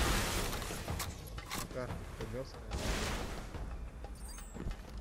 на карте кремлевская набережная